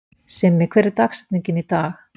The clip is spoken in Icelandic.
Simmi, hver er dagsetningin í dag?